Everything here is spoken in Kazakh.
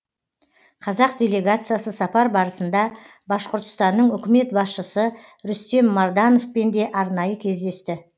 қазақ делегациясы сапар барысында башқұртстанның үкімет басшысы рустем мардановпен де арнайы кездесті